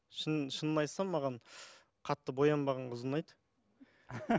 шынымды айтсам маған қатты боянбаған қыз ұнайды